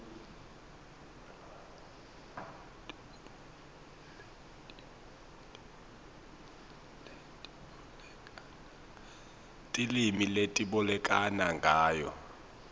tilwimi letibolekana ngayo